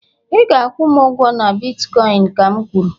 ị ga-akwụ m ụgwọ na bitkọịn ka'm kwuru!